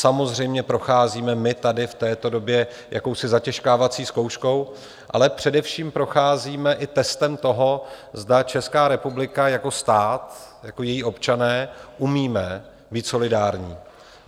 Samozřejmě procházíme my tady v této době jakousi zatěžkávací zkouškou, ale především procházíme i testem toho, zda Česká republika jako stát, jako je občané umíme být solidární.